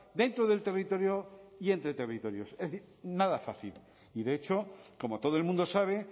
dentro del territorio y entre territorios es decir nada fácil y de hecho como todo el mundo sabe